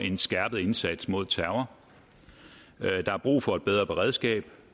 en skærpet indsats mod terror der er brug for et bedre beredskab